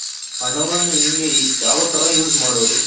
ಹಣವನ್ನ ಹೆಂಗೆ ಯಾವ್ ತರ use ಮಾಡೋದು